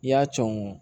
I y'a con